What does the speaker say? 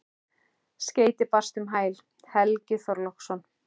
Skeyti barst um hæl: Helgi Þorláksson.